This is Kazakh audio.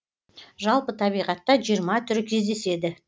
жалпы табиғата жиырма түрі кездеседі